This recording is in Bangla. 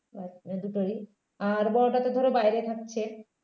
. দুটোই আর বড়োটা তো ধরো বাইরে থাকছে